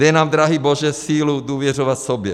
Dej nám, drahý Bože, sílu důvěřovat sobě.